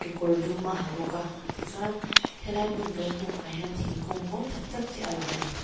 kawr dum a ha bawk a tichuan helai hmun kan hmuh pah hian thingkung mawi tak tak te a lang a ni.